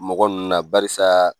Mɔgɔ nunnu na. Barisa